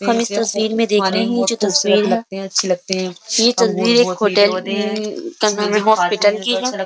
हम इस तस्वीर में देख रहे हैं जो तस्वीर है। यह तस्वीर एक होटल उम हॉस्पिटल की है।